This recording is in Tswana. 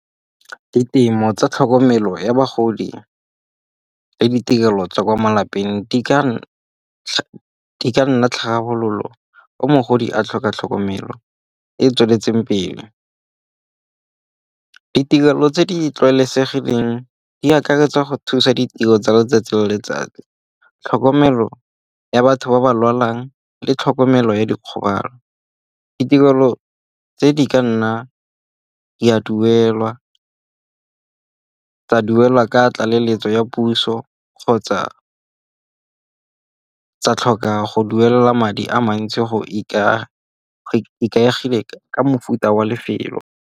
Ditemo tsa tlhokomelo ya bagodi le ditirelo tsa kwa malapeng di ka nna tlhabololo o mogodi a tlhoka tlhokomelo e e tsweletseng pele. Ditirelo tse di tlwaelesegileng di akaretsa go thusa ditiro tsa letsatsi le letsatsi. Tlhokomelo ya batho ba ba lwalang le tlhokomelo ya dikgobalo. Ditirelo tse di ka nna di a duelwa ka tlaleletso ya puso kgotsa tsa tlhoka go duela madi a mantsi go ikaegile ka mofuta wa lefelo.